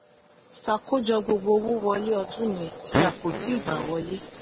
ṣàkójọ gbogbo owó wọlé ọdún yẹn tí a kò tíì gba wọlé.